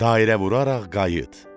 dairə vuraraq qayıt.